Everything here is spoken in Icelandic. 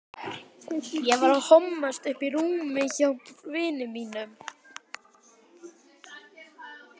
Það var bara allt undir.